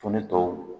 To ne tɔw